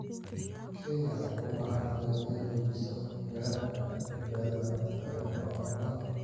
Kenya waxay u baahan tahay inay xoojiso heerarka badbaadada cuntada ee xoolaha.